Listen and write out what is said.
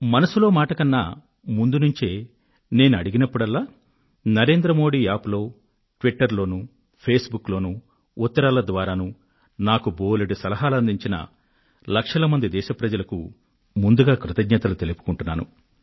మనసులో మాట కన్నా ముందు నుండే నేను అడిగినప్పుడల్లా నరేంద్రమోడియప్ప్ ట్విటర్ ఫేస్ బుక్ లలోను ఉత్తరాల ద్వారాను నాకు బోలెడు సలహాలను అందించిన లక్షల మంది దేశ వాసులకు ముందుగా కృతజ్ఞతలు తెలియజేసుకుంటున్నాను